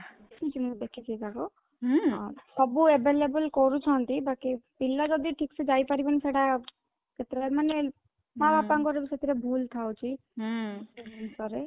ଦେଖିଚି ମୁଁ ଦେଖିଚି ତାଙ୍କୁ ହୁଁ ସବୁ available କରୁଛନ୍ତି ବାକି ପିଲା ଯଦି ଠିକ ସେ ଯାଇପାରିବନି ସେଟା କେତେ ବେଳେ ମାନେ ମା ବାପା ମାନଙ୍କର ଭୁଲ ଥାଉଛି ହୁଁ ପରେ